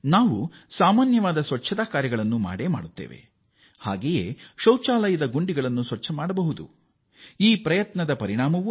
ನಾವು ಇತರ ಶುಚಿತ್ವದ ಕಾರ್ಯಗಳನ್ನು ಮಾಡುವ ರೀತಿಯಲ್ಲಿಯೇ ಸ್ವತಃ ಈ ಶೌಚಾಲಯಗಳನ್ನು ಶುಚಿಗೊಳಿಸಬಹುದು ಎಂಬುದನ್ನು ತೋರಿಸಲಾಯಿತು